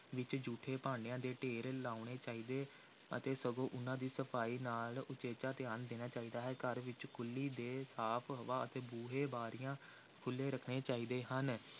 ਵਿੱਚ ਜੂਠੇ ਭਾਂਡਿਆਂ ਦੇ ਢੇਰ ਲਾਉਣੇ ਚਾਹੀਦੇ ਅਤੇ ਸਗੋਂ ਉਨ੍ਹਾਂ ਦੀ ਸਫ਼ਾਈ ਨਾਲ ਉਚੇਚਾ ਧਿਆਨ ਦੇਣਾ ਚਾਹੀਦਾ ਹੈ, ਘਰ ਵਿੱਚ ਖੁੱਲ੍ਹੀ ਤੇ ਸਾਫ਼ ਹਵਾ ਅਤੇ ਬੂਹੇ, ਬਾਰੀਆਂ ਖੁੱਲ੍ਹੇ ਰੱਖਣੇ ਚਾਹੀਦੇ ਹਨ।